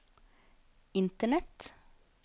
internett